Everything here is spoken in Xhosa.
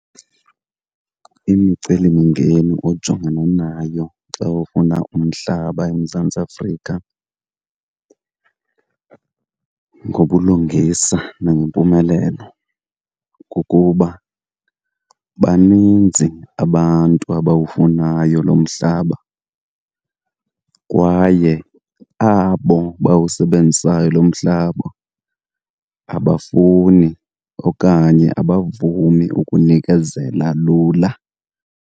Imicelimingeni ojongana nayo xa ufuna umhlaba eMzantsi Afrika ngobulungisa nangempumelelo kukuba baninzi abantu abawufunayo lo mhlaba kwaye abo bawusebenzisayo lo mhlaba abafuni okanye abavumi ukunikezela lula.